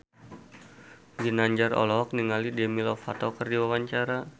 Ginanjar olohok ningali Demi Lovato keur diwawancara